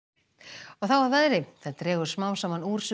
og þá að veðri það dregur smám saman úr